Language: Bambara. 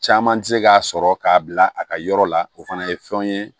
Caman tɛ se k'a sɔrɔ k'a bila a ka yɔrɔ la o fana ye fɛnw ye